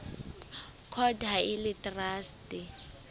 court ha e le traste